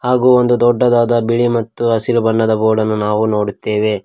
ಹಾಗು ಒಂದು ದೊಡ್ಡದಾದ ಬಿಳಿ ಮತ್ತು ಹಸಿರು ಬಣ್ಣದ ಬೋರ್ಡ್ ಅನ್ನು ನಾವು ನೋಡುತ್ತೇವೆ.